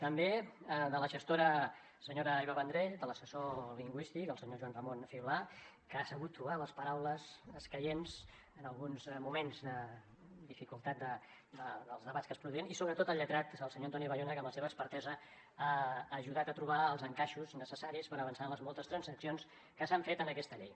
també de la gestora senyora eva vendrell de l’assessor lingüístic el senyor joan ramon fibla que ha sabut trobar les paraules escaients en alguns moments de dificultat dels debats que es produïen i sobretot del lletrat del senyor antoni bayona que amb la seva expertesa ha ajudat a trobar els encaixos necessaris per avançar en les moltes transaccions que s’han fet en aquesta llei